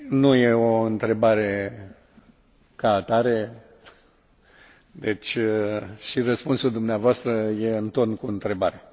Nu e o întrebare ca atare, deci și răspunsul dumneavoastră este în ton cu întrebarea.